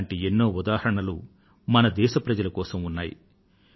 ఇటువంటి ఎన్నో ఉదాహరణలు మన దేశ ప్రజల కోసం ఉన్నాయి